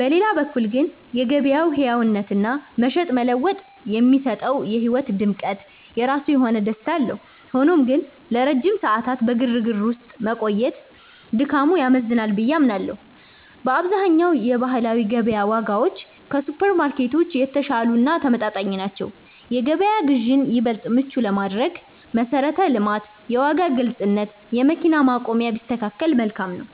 በሌላ በኩል ግን፣ የገበያው ሕያውነትና "መሸጥ መለወጥ" የሚሰጠው የሕይወት ድምቀት የራሱ የሆነ ደስታ አለው። ሆኖም ግን፣ ለረጅም ሰዓታት በግርግር ውስጥ መቆየት ድካሙ ያመዝናል ብዬ አምናለሁ። በአብዛኛው የባህላዊ ገበያ ዋጋዎች ከሱፐርማርኬቶች የተሻሉ እና ተመጣጣኝ ናቸው። የገበያ ግዢን ይበልጥ ምቹ ለማድረግ መሠረተ ልማት፣ የዋጋ ግልጽነት፣ የመኪና ማቆሚያ ቢስተካከከል መልካም ነው።